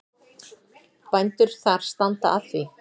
Bændur þar standa að því.